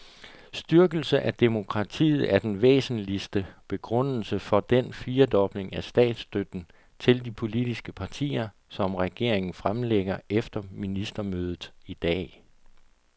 Styrkelse af demokratiet er den væsentligste begrundelse for den firedobling af statsstøtten til de politiske partier, som regeringen fremlægger efter ministermødet i dag.